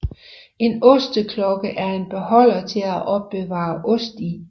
En osteklokke er en beholder til at opbevare ost i